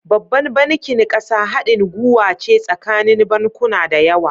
Babban bankin ƙasa hadin guwace tsakanin bankuna dayawa